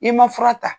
I ma fura ta